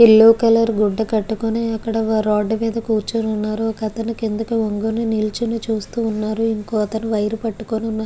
yellow colour గుడ్డ కటుకొని ఒక రోడ్ మేధా కురుచొని వున్నారు ఒక అతను కిందికి వంగి నిలుచొని చూస్తూ వున్నారు ఇంకో అతను వైర్ పాతుకొని--